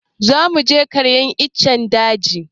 za mu je karyar ice a daji